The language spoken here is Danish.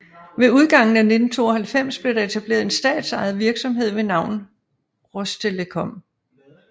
Ved udgangen af 1992 blev der etableret en statsejet virksomhed ved navn Rostelekom